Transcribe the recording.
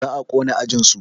Za a ƙona ajinsu